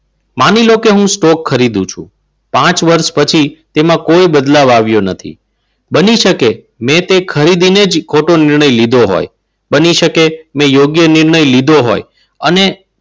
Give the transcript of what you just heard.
માની લો કે હું સ્ટોક કરી દઉં છું. પાંચ વર્ષ પછી તેમાં કોઈ બદલાવ આવ્યો નથી. બની શકે મેં તે ખરીદીને જ ખોટો નિર્ણય લીધો હોય. બની શકે મેને યોગ્ય નિર્ણય લીધો હોય. અને